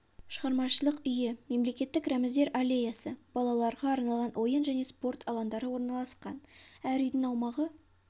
шығармашылық үйі мемлекеттік рәміздер аллеясы балаларға арналған ойын және спорт алаңдары орналасқан әр үйдің аумағы